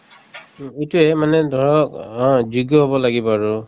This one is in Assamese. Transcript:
উম, এইটোয়ে মানে ধৰক অ যোগ্য হব লাগিব আৰু